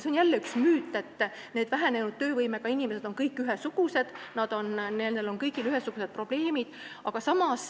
See on jälle müüt, et vähenenud töövõimega inimesed on kõik ühesugused, neil kõigil on ühesugused probleemid.